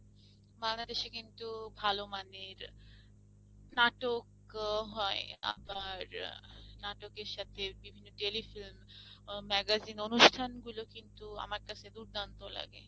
বাংলাদেশে কিন্তু ভাল মানের নাটক হয় আবার নাটকের সাথে বিভিন্ন telefilm, magazine অনুষ্ঠানগুলো কিন্তু আমার কাছে দুর্দান্ত লাগে।